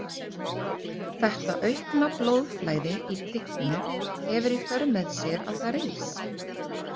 Þetta aukna blóðflæði í typpinu hefur í för með sér að það rís.